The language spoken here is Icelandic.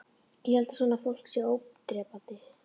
Ég held að svona fólk sé ódrepandi